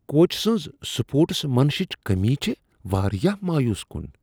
کوچ سٕنٛز سپورٹس مینشِپٕچ کٔمی چھےٚ واریاہ مایوس کن۔